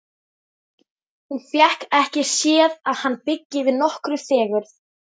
Hún fékk ekki séð að hann byggi yfir nokkurri fegurð.